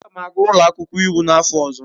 Aga m aga ụlọ akwụkwọ iwu n'afọ ọzọ.